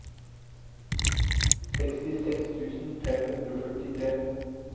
sekstiseks tusen fem hundre og førtitre